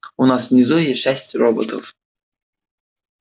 у нас внизу есть шесть роботов